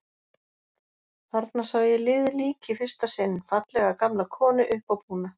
Þarna sá ég liðið lík í fyrsta sinn, fallega gamla konu, uppábúna.